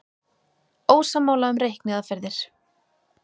Ósammála um reikniaðferðir